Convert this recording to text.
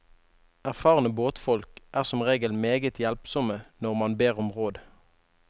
Erfarne båtfolk er som regel meget hjelpsomme når man ber om råd.